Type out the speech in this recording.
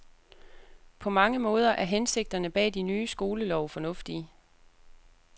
På mange måder er hensigterne bag de nye skolelove fornuftige.